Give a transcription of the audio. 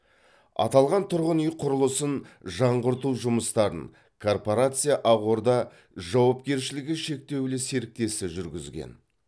аталған тұрғын үй құрылысын жаңғырту жұмыстарын корпорация ағорда жауапкершілігі шектеулі серіктесі жүргізген